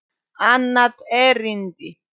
Annað erindi